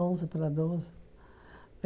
Onze para doze.